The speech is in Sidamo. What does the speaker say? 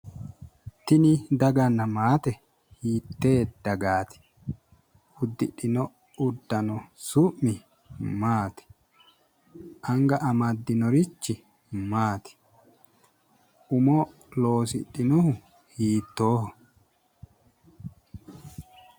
tini daganna maate hiitee dagaati ?,uddidhino uddano su'mi maati ?,anga amddinorichi maati?,umo loosidhinohu hiittooho?